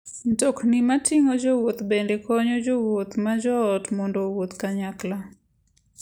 Mtokni mating'o jowuoth bende konyo jowuoth ma joot mondo owuoth kanyachiel.